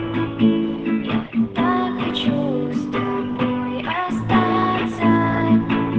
для чего